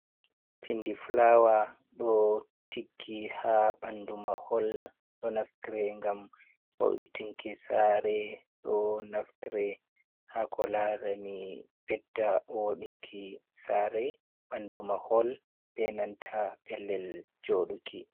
Pindi fulawa ɗo tiggi ha ɓandu mahol. Ɗo naftre ngam wo'itinki sare, ɗo naftire ha ko larani ɓedda woɗinki sare, ɓandu mahol be nanta pellel joɗuki.